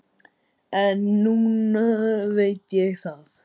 En núna veit ég það.